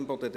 Imboden